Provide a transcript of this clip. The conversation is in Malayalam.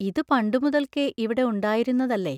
ഇതു പണ്ടുമുതൽക്കേ ഇവിടെ ഉണ്ടായിരുന്നതല്ലേ?